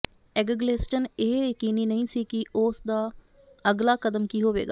Eggleston ਇਹ ਯਕੀਨੀ ਨਹੀਂ ਸੀ ਕਿ ਉਸ ਦਾ ਅਗਲਾ ਕਦਮ ਕੀ ਹੋਵੇਗਾ